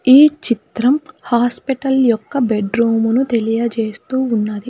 ఈ చిత్రం హాస్పెటల్ యొక్క బెడ్రూము ను తెలియజేస్తూ ఉన్నది.